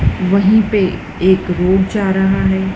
वहीं पे एक रोप जा रहा है।